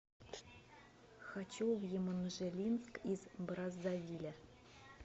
хочу в еманжелинск из браззавиля